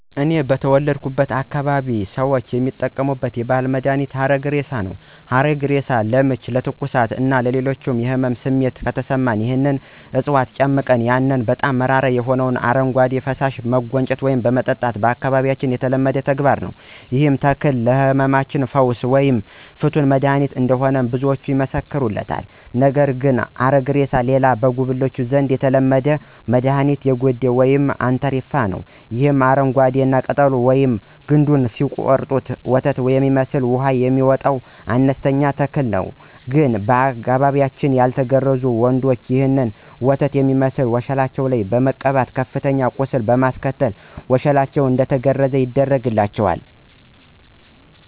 እኔ በተወለድኩበት አካባቢ ሁሉም የአካባቢያችን ሰዎች የሚጠቀሙት የባህል መድሀኒት ሀረግሬሳ ነው። ሀረግሬሳ ለምች፣ ለትኩሳት እና ሌሎች የህመም ስሜት ከተሰማን ይህንን ዕጽዋት ጨምቀን ያንን በጣም መራራ የሆነውን አረጓዴ ፈሳሽ መጎንጨት ወይም መጠጣት በአካባቢያችን የተለመደ ተግባር ነዉ። ይህም ተክል ለህመማችን ፈዋሽ ወይም ፍቱን መድሐኒት እንደሆነ ብዙዎች ይመሰክሩለታል። ነገር ግን ከሀረግሬሳ ሌላ በጉብሎች ዘንድ የተለመደ መድኋኒት የገዴ ወተት ወይም አንትርፋ ነው። ይህ አረንጓዴ እና ቅጠሉን ወይም ግንዱን ሲቆረጥ ወተት የመሰለ ውሃ የሚወጣው አነስተኛ ተክል ግን በአካባቢያችን ያልተገረዙ ወንዶች ይህንን ወተት የመሠለ ውሃ ወሸላቸውን በመቀባት ከፍተኛ ቁስለት በማስከተል ወሸላቸው እንዲገረዝ ያደርጋቸዋል።